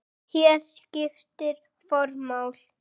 Hér skiptir form máli.